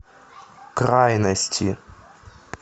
крайности